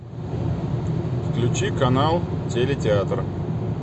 включи канал теле театр